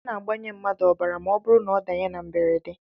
A na-agbanye mmadụ ọbara ma ọ bụrụ na ọ danye na mberede